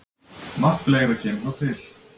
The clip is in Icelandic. Margt fleira kemur þó til.